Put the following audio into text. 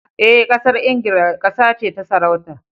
Eh, Ƙasar Ingila ƙasa ce ta sarauta.